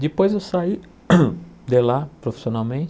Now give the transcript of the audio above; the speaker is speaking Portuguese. Depois eu saí de lá